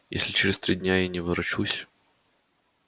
если через три дня я не ворочусь